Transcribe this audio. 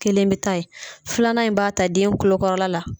Kelen bɛ taa yen filanan in b'a ta den kulokɔrɔla la.